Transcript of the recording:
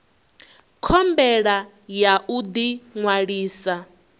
khumbelo ya u ḓi ṅwalisa